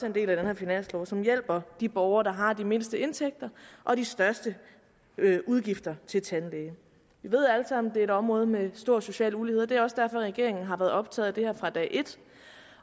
en del af den her finanslov og som hjælper de borgere der har de mindste indtægter og de største udgifter til tandlæge vi ved alle sammen at et område med stor social ulighed og det er også derfor at regeringen har været optaget af det her fra dag et